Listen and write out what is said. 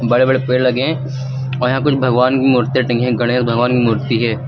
बड़े बड़े पेड़ लगे हैं और यहां कुछ भगवान की मूर्तियां टंगी हैं गणेश भगवान की मूर्ति है।